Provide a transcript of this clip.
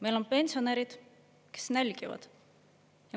Meil on pensionärid, kes nälgivad.